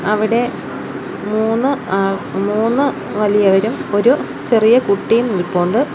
അവിടെ മൂന്ന് ആ മൂന്ന് വലിയവരും ഒരു ചെറിയ കുട്ടിയും നിൽപ്പുണ്ട്.